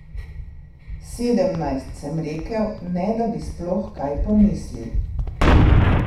Sedemnajst, sem rekel, ne da bi sploh kaj pomislil.